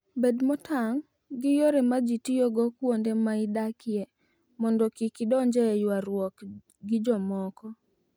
Bed motang' gi yore ma ji tiyogo kuonde ma idakie mondo kik idonj e ywaruok gi jomoko.